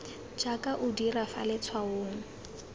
jaaka o dira fa letshwaong